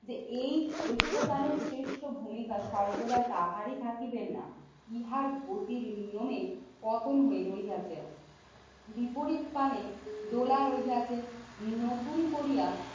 এই ঐক্যবানের সৃষ্ট ভূমিকা সর্বদা তাহারই থাকিবেন না ইহার গতির নিয়মে পতন হই রইয়াতে। বিপরীত ত্রানে দোলার ওই হাতে নতুন করিয়া